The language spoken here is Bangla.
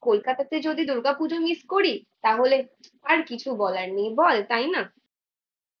কোলকাতাতে যদি দুর্গাপুজো মিস করি তাহলে আর কিছু বলার নেই বল তাই না।